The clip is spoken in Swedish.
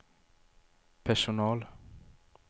personal